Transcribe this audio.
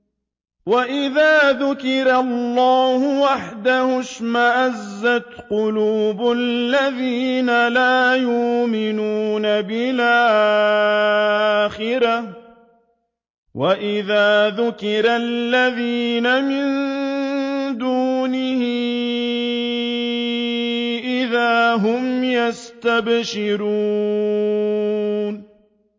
وَإِذَا ذُكِرَ اللَّهُ وَحْدَهُ اشْمَأَزَّتْ قُلُوبُ الَّذِينَ لَا يُؤْمِنُونَ بِالْآخِرَةِ ۖ وَإِذَا ذُكِرَ الَّذِينَ مِن دُونِهِ إِذَا هُمْ يَسْتَبْشِرُونَ